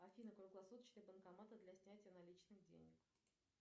афина круглосуточные банкоматы для снятия наличных денег